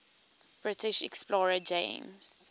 british explorer james